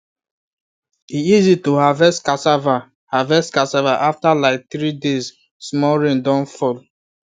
e easy to harvest cassava harvest cassava after like three days small rain don fall